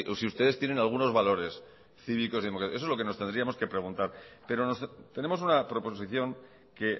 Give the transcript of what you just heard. es si ustedes tienen algunos valores cívicos y democráticos eso es lo que nos tendríamos que preguntar pero tenemos una proposición que